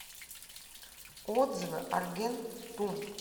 отзывы аргентум